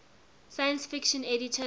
science fiction editors